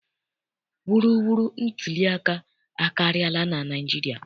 Wuruwuru ntuliaka akarịala na Naịjirịa.